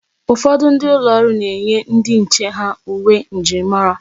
Ụfọdụ ụlọ ọrụ na-enye ndi nche ha uwe njirimara.